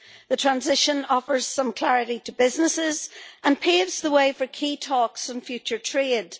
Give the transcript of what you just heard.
The transition offers some clarity to businesses and paves the way for key talks in future trade.